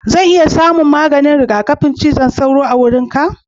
Zan iya samun maganin rigakafin zazzabin cizon sauro a wajenka?